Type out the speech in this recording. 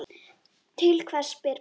Til hvers spyr Palli.